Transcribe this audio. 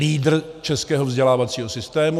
Lídr českého vzdělávacího systému.